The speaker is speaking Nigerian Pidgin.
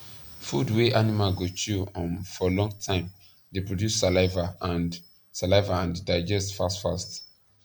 food wa animal go chew um for long time da produce saliva and saliva and digest fast fast